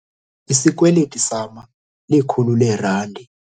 Isikweliti sama likhulu leerandi.